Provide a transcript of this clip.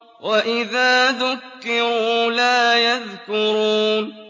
وَإِذَا ذُكِّرُوا لَا يَذْكُرُونَ